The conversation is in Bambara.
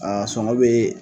Aa soɔgɔ bɛ